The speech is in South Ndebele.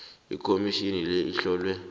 ikhomitjhini le ihlonywe